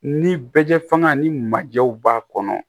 Ni bɛ jɛ faga ni majew b'a kɔnɔ